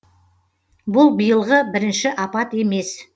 бұл биылғы бірінші апат емес